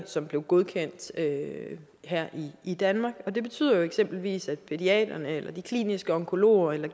som blev godkendt her i danmark og det betyder eksempelvis til pædiaterne eller de kliniske onkologer eller